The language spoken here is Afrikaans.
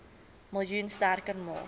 miljoen sterk maak